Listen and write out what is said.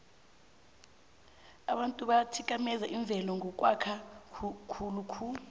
abantu bathikameza imvelo ngokwakha khulokhu